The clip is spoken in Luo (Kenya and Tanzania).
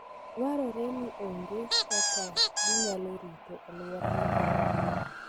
Dwarore ni ong'e kaka ginyalo rito alwora ma gidakie.